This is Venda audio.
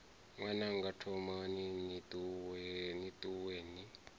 ṅwananga thomani ni ṱuwe ni